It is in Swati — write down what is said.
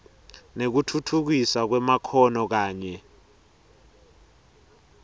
nekutfutfukiswa kwemakhono kanye